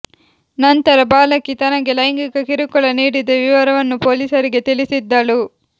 ನಂತರ ಬಾಲಕಿ ತನಗೆ ಲೈಂಗಿಕ ಕಿರುಕುಳ ನೀಡಿದ ವಿವರವನ್ನು ಪೊಲೀಸರಿಗೆ ತಿಳಿಸಿದ್ದಳು